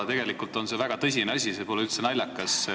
Tegelikult on see väga tõsine asi, see pole üldse naljakas.